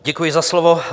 Děkuji za slovo.